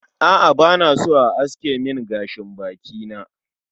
A'a bana so a aske min gashin baki na